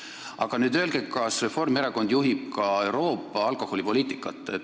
Aga öelge, kas Reformierakond juhib ka Euroopa alkoholipoliitikat.